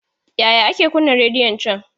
Yaya ake kunna rediyon can?